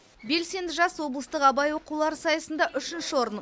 белсенді жас облыстық абай оқулары сайысында үшінші орын